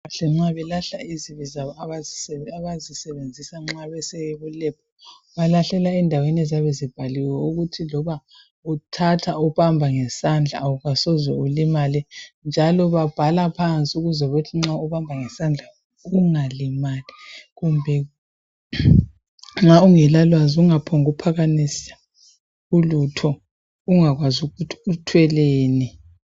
Abezempilakahle nxa belahla izibi zabo abazisebenzisayo nxa bese lab balahlela endaweni eziyabe zibhaliwe ukuthi loba uthatha uhamba ngesandla awusoze ulimale njalo babhala phansi ukwenzela ukuthi nxa uqamba ngesandla ungalimali kumbe nxa ungela lwazi ungaphombukuphakamisa ulutho ungakwazi ukuthi uthweleni.